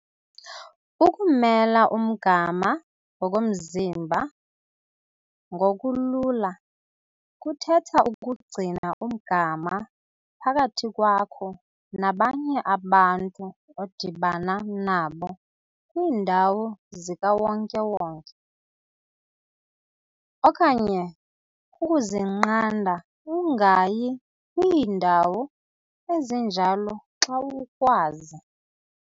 Ukumela umgama ngokomzimba ngokulula kuthetha ukugcina umgama phakathi kwakho nabanye abantu odibana nabo kwiindawo zikawonke-wonke, okanye ukuzinqanda ungayi kwiindawo ezinjalo xa ukwazi.